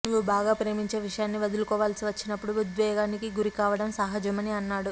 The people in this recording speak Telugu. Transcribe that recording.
నువ్వు బాగా ప్రేమించే విషయాన్ని వదులుకోవాల్సి వచ్చినప్పుడు ఉద్వేగానికి గరి కావడం సహజమని అన్నాడు